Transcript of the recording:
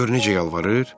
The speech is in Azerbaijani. Gör necə yalvarır.